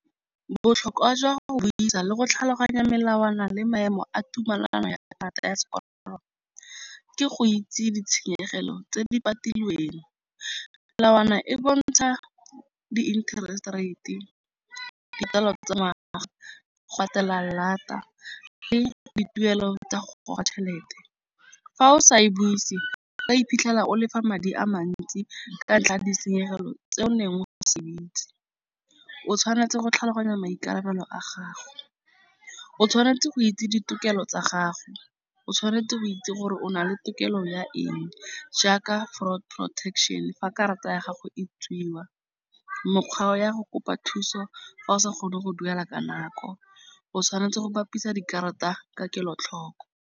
Botlhokwa jwa go isa le go tlhaloganya melawana le maemo a tumelano ya karata ya sekoloto. Ke go itse ditshenyegelo tse di part filweng melawana e bontsha di-interest rate e dipalangwa tsa mahala go atela lata le dituelo tsa go goga tšhelete. Fa o sa e buise ka iphitlhela o lefa madi a mantsi ka ntla ditshenyegelo tse neng ga o se ba itse o tshwanetse go tlhaloganya maikarabelo a gago. O tshwanetse go itse ditokelo tsa gago, o tshwanetse go itse gore o nale tokelo ya eng jaaka fraud protection. Fa karata ya gago e tswiwa mokgwa o ya go kopa thuso, fa o sa kgone go duela ka nako o tshwanetse go bapisa dikarata ka kelotlhoko.